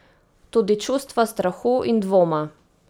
Tudi čustva strahu in dvoma.